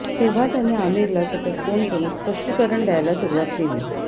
तेव्हा त्याने आमिरला सतत फोन करून स्पष्टीकरण द्यायला सुरूवात केली